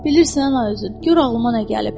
Bilirsən nə üzü, gör ağlıma nə gəlib.